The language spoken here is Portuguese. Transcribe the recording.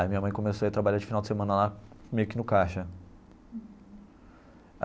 Aí minha mãe começou a ir trabalhar de final de semana lá meio que no caixa.